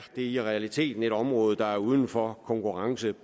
det i realiteten et område der pt er uden for konkurrence